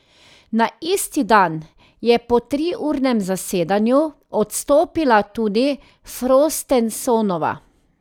Na isti dan je po triurnem zasedanju odstopila tudi Frostensonova.